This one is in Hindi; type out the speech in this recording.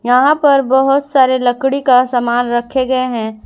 यहां पर बहुत सारे लकड़ी का सामान रखे गए हैं।